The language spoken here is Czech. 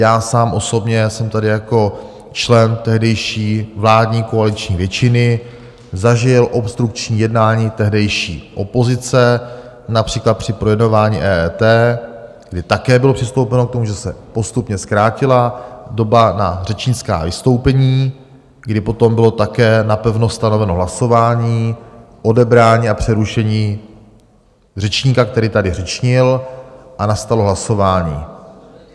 Já sám osobně jsem tady jako člen tehdejší vládní koaliční většiny zažil obstrukční jednání tehdejší opozice, například při projednávání EET, kdy také bylo přistoupeno k tomu, že se postupně zkrátila doba na řečnická vystoupení, kdy potom bylo také napevno stanoveno hlasování, odebrání a přerušení řečníka, který tady řečnil, a nastalo hlasování.